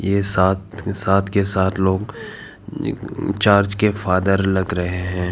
ये सात सात के सात लोग चर्च के फादर लग रहे हैं।